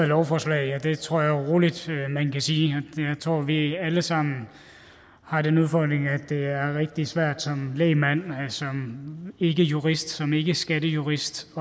lovforslag og det tror jeg roligt man kan sige jeg tror vi alle sammen har den udfordring at det er rigtig svært som lægmand som ikkejurist som ikkeskattejurist